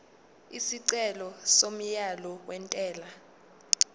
isicelo somyalo wentela